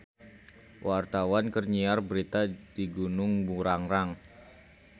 Wartawan keur nyiar berita di Gunung Burangrang